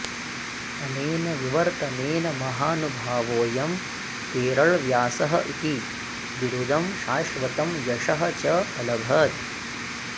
अनेन विवर्तनेन महानुभावोऽयं केरळव्यासः इति बिरुदं शाश्वतम् यशः च अलभत्